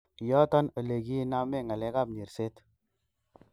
Yoton elekiinamen ngalek ap nyerset.